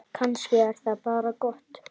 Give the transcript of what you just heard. Kannski er það bara gott.